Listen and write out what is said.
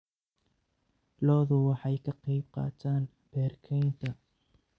Lo'du waxay ka qayb qaataan beer-kaynta.